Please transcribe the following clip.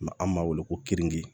an b'a wele ko keninke